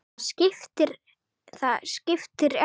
Það skiptir ekki minna máli.